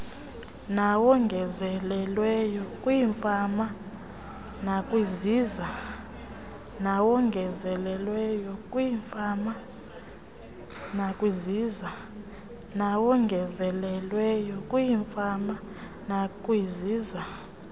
nawongezelelweyo kwiifama nakwiziza